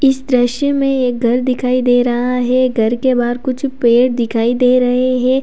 इस दृश्य में एक घर दिखाई दे रहा है घर के बाहर कुछ पेड़ दिखाई दे रहे हैं।